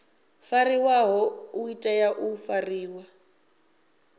fariwaho u tea u fariwa